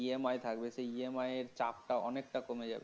তার EMI থাকবে সেই EMI এর চাপটা অনেকটা কমে যাবে